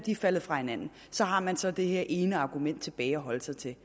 er faldet fra hinanden så har man så det her ene argument tilbage at holde sig til